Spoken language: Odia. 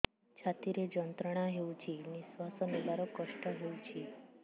ଛାତି ରେ ଯନ୍ତ୍ରଣା ହେଉଛି ନିଶ୍ଵାସ ନେବାର କଷ୍ଟ ହେଉଛି